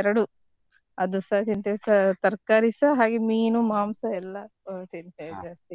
ಎರಡು ಅದುಸಾ ತಿಂತೇವೆ ತ~ ತರ್ಕಾರಿಸ ಹಾಗೆ ಮೀನು ಮಾಂಸ ಎಲ್ಲ ತಿಂತೇವೆ ಜಾಸ್ತಿ.